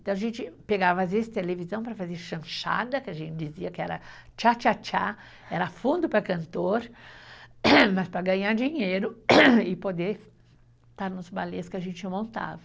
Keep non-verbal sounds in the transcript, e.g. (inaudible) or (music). Então a gente pegava às vezes televisão para fazer chanchada, que a gente dizia que era tchá tchá tchá, era fundo para cantor, (coughs) mas para ganhar dinheiro (coughs) e poder estar nos balés que a gente montava.